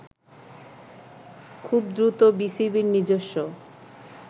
খুব দ্রুত বিসিবির নিজস্ব